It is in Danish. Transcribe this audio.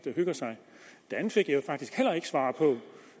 hygger sig det andet fik jeg faktisk heller ikke svar på